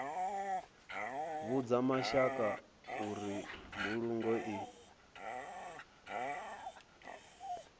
vhudza mashaka uri mbulungo i